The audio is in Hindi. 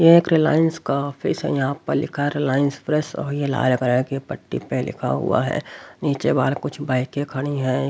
यह एक रिलायंस का ऑफिस है यहां पर लिखा रिलायंस प्रेस और ये लाल कलर के पट्टी पे लिखा हुआ है नीचे बाहर कुछ बाईकें खड़ी हैं।